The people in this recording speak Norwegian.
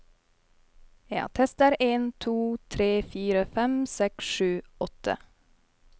Tester en to tre fire fem seks sju åtte